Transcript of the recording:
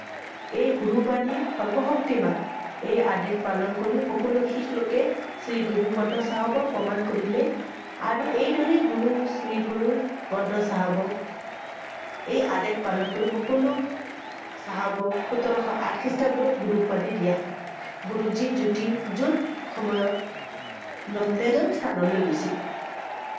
চাহাবক সোতৰশ আঠ খ্ৰীষ্টাব্দত গুৰু উপাধি দিয়া হয়। গুৰু জী জ্যোতি~যুত সময়ত নন্দেদৰ স্থানলৈ গৈছিল।